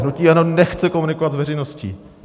Hnutí ANO nechce komunikovat s veřejností.